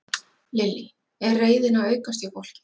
Lillý: Er reiðin að aukast hjá fólki?